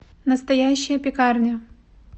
настоящая пекарня